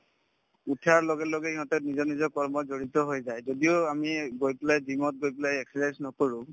উঠাৰ লগেলগে ইহঁতে নিজৰ নিজৰ কৰ্মত জড়িত হৈ যায় যদিও আমি গৈ পেলাই gym ত গৈ পেলাই exercise নকৰো